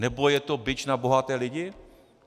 Nebo je to bič na bohaté lidi?